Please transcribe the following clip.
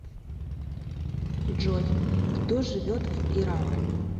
джой кто живет в иран